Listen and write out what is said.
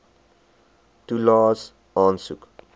toelaes aansoek